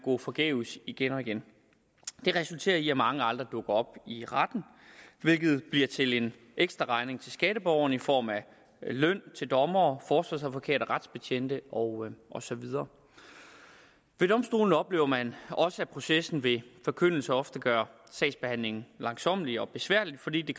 gå forgæves igen og igen det resulterer i at mange aldrig dukker op i retten hvilket bliver til en ekstraregning til skatteborgerne i form af løn til dommere forsvarsadvokater retsbetjente og og så videre ved domstolene oplever man også at processen ved forkyndelse ofte gør sagsbehandlingen langsommelig og besværlig fordi det